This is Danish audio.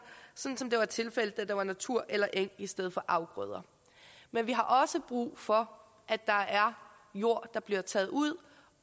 som det var tilfældet da der var natur eller eng i stedet for afgrøder men vi har også brug for at der er jord der bliver taget ud